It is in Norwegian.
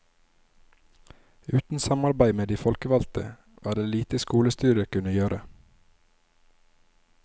Uten samarbeid med de folkevalgte, var det lite skolestyret kunne gjøre.